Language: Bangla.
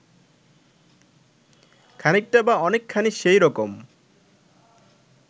খানিকটা বা অনেকখানি সেই রকম